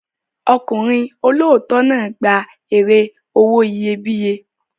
Ọkùnrin olóòótọ́ náà gba èrè owó iyebíye.